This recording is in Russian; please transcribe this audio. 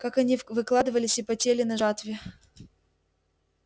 как они выкладывались и потели на жатве